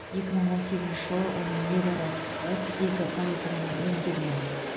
екі мың он сегізінші жылы оның небәрі отыз екі пайызы ғана өңделген